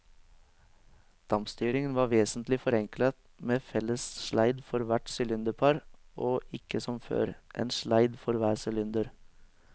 Dampstyringen var vesentlig forenklet med en felles sleid for hvert sylinderpar og ikke som før, en sleid for hver sylinder.